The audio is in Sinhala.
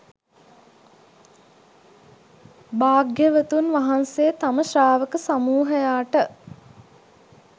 භාග්‍යවතුන් වහන්සේ තම ශ්‍රාවක සමූහයාට